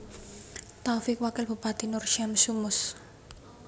Taufik Wakil Bupati Nur Syamsu Mus